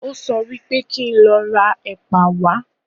Ó sọ wípé kí n lọ ra ẹ̀pà wá